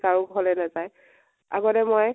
কাৰো ঘৰলৈ নাজায়। আগতে মই